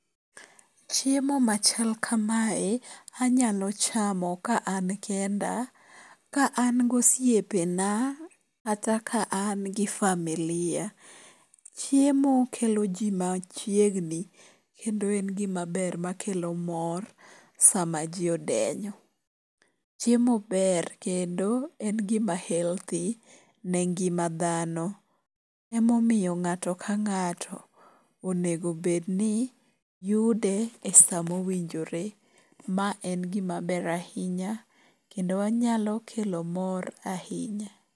Chiemo machal kamae anyalo chamo ka an kenda, ka an gi osiepena kata ka an gi familia. Chiemo kelo ji machiegni kendo en gimaber makelo mor sama ji odenyo. Chiemo ber kendo en gima healthy ne ngima dhano. Emomiyo ng'ato ka ng'ato onego obed ni yude e sa mowinjre. Ma en gimaber ahinya kendo wanyalo kelo mor.